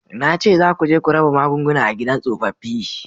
Na ce za ku je ku raba magunguna a gidan tsofaffi